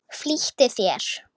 Flýttu þér!